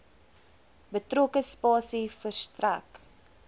betrokke spasie verstrek